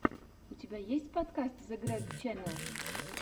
у тебя есть подкаст зэгрэгченнэл